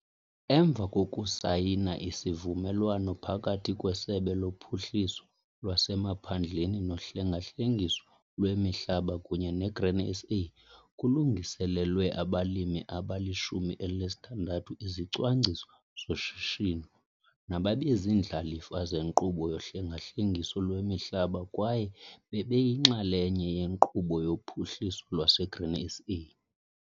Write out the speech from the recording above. Emva kokusayina isivumelwano phakathi kweSebe loPhuhliso lwasemaPhandleni noHlenga-hlengiso lweMihlaba kunye neGrain SA kulungiselelwe abalimi abali-16 izicwangciso zoshishino nababeziindlalifa zenkqubo yohlenga-hlengiso lwemihlaba kwaye bebeyinxalenye yeNkqubo yoPhuhliso lwaseGrain SA.